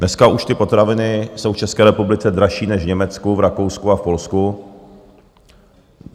Dneska už ty potraviny jsou v České republice dražší než v Německu, v Rakousku a v Polsku.